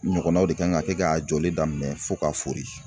Ɲɔgɔnnaw de kan ka kɛ k'a jɔli daminɛ fo k'a fori.